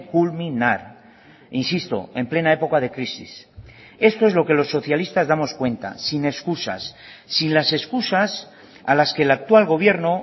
culminar insisto en plena época de crisis esto es lo que los socialistas damos cuenta sin excusas sin las excusas a las que el actual gobierno